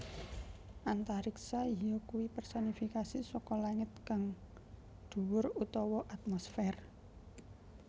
Antariksa yakuwi personifikasi saka langit kang dhuwur utawa atmosfèr